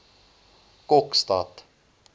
kokstad